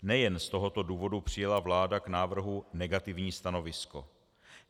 Nejen z tohoto důvodu přijala vláda k návrhu negativní stanovisko.